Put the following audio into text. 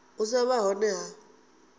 u sa vha hone ha